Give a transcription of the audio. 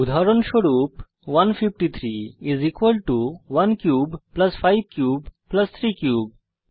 উদাহরণস্বরূপ 153 equal to 1 cube plus 5 cube plus 3 cube